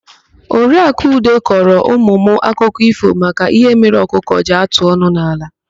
Oriakụ Ude kọrọ ụmụ m akụkọ ífò maka ihe mere ọkụkọ ji atụ ọnụ n'ala.